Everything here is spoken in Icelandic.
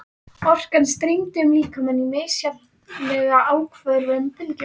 Orkan streymdi um líkamann í misjafnlega áköfum bylgjum.